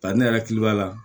Bari ne yɛrɛ hakili b'a la